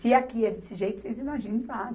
Se aqui é desse jeito, vocês imaginem lá.